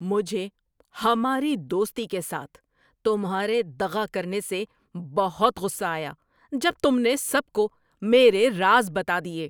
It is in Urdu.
مجھے ہماری دوستی کے ساتھ تمہارے دغا کرنے سے بہت غصہ آیا جب تم نے سب کو میرے راز بتا دیے۔